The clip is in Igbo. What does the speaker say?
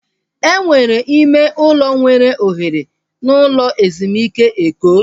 Enwere ime ụlọ nwere ohere n'ụlọ ezumike Eko?